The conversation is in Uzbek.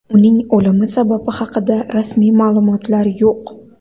Uning o‘limi sababi haqida rasmiy ma’lumotlar yo‘q.